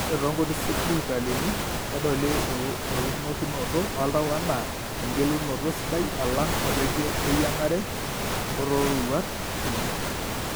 Ore toonkuti sipitalini, kedoli eunokinoto oltau anaa engelunoto sidai alang' oreikie leyieng'are oororuat uni.